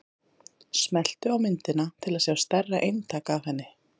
smelltu á myndina til að sjá stærra eintak af henni